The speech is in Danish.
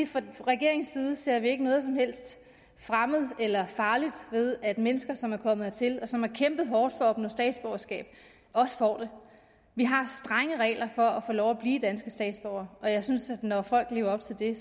fra regeringens side ser vi ikke noget som helst fremmed eller farligt ved at mennesker som er kommet hertil og som har kæmpet hårdt for at opnå statsborgerskab også får det vi har strenge regler for at få lov at blive danske statsborgere og jeg synes at når folk lever op til dem